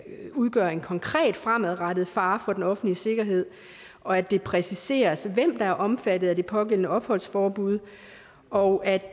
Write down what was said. udgøre en konkret fremadrettet fare for den offentlige sikkerhed og at det præciseres hvem der er omfattet af det pågældende opholdsforbud og at